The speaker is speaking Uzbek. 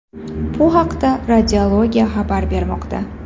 Bu haqda Radiology xabar bermoqda .